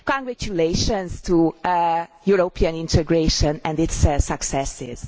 Congratulations to European integration and its successes.